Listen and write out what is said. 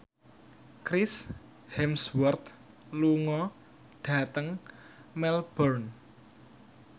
Chris Hemsworth lunga dhateng Melbourne